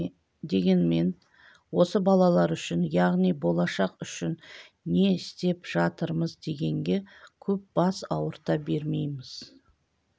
дегенмен осы балалар үшін яғни болашақ үшін не істеп жатырмыз дегенге көп бас ауырта бермейміз